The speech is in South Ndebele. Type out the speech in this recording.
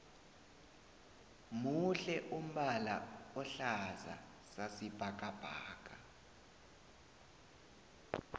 muhle umbala ohlaza sasi bhakabhaka